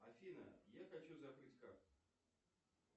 афина я хочу закрыть карту